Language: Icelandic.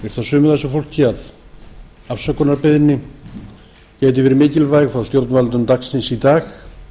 sumu af þessu fólki að afsökunarbeiðni geti verið mikilvæg frá stjórnvöldum dagsins í dag